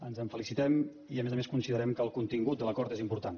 ens en felicitem i a més a més considerem que el contingut de l’acord és important